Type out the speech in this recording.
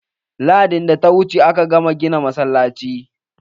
Lahadin da ta wuce aka gama gina masallacin.